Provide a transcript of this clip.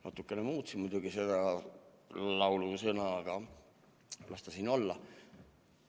" Natuke muutsin muidugi neid laulusõnu, aga las ta olla.